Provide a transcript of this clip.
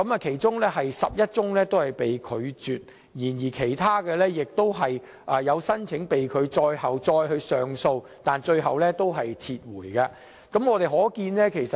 其中11宗被拒絕，而其他的被拒申請則在他上訴後遭駁回，他最終自行撤銷申請。